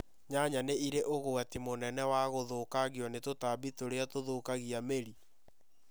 Nyanya nĩ irĩ ũgwati mũnene wa gũthũkangio nĩ tũtambi tũrĩa tũthũkagia mĩri.